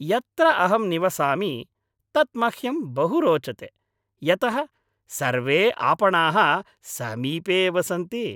यत्र अहं निवसामि तत् मह्यं बहु रोचते यतः सर्वे आपणाः समीपे एव सन्ति।